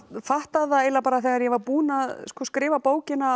fattaði eiginlega þegar ég var búin að skrifa bókina